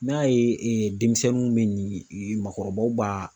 N'a ye denmisɛnninw min ye, makɔrɔbaw b'a